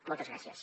moltes gràcies